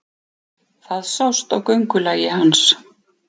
Það sást á göngulagi hans.